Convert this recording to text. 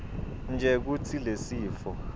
nje kutsi lesifo